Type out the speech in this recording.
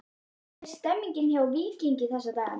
Hvernig er stemningin hjá Víkingi þessa dagana?